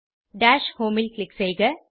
dash home ல் click செய்க